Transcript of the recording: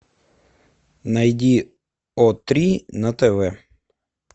найди о три на тв